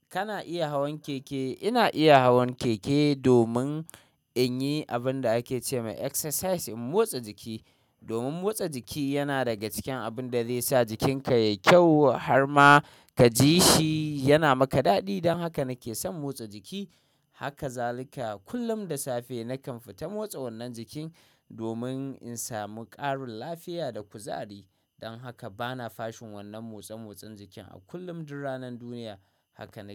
Kana iya hawan keke? Ina iya hawan keke domin in yi abin da ake ce ma exercise, in motsa jiki. Domin motsa jiki yana daga cikin abin da zai sa jikinka yayi kyau. Har ma ka ji shi yana maka daɗi. Don haka nake son motsa jiki. Haka zalika. Kullum da safe nakan fita motsa wannan jikin domin in samu ƙarin lafiya da kuzari. Don haka bana fashin wannan motsa-motson jikin a kullum, duk ranan duniya. Haka nake.